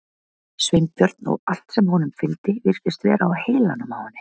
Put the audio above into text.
Sveinbjörn og allt sem honum fylgdi virtist vera á heilanum á henni.